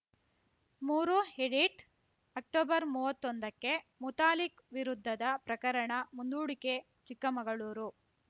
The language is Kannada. ಮೂರು ಹಿಡಿಟ್‌ ಅಕ್ಟೊಬರ್ಮೂವತ್ತೊಂದಕ್ಕೆ ಮುತಾಲಿಕ್‌ ವಿರುದ್ಧದ ಪ್ರಕರಣ ಮುಂದೂಡಿಕೆ ಚಿಕ್ಕಮಗಳೂರು